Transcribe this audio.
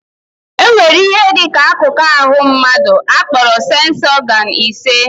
Enwere ihe dị ka akụkụ ahụ mmadụ akporo séns ọgán ise